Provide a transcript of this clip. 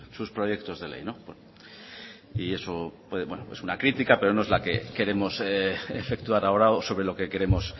sus proyectos de ley y eso es una crítica pero no es la que queremos efectuar ahora o sobre lo que queremos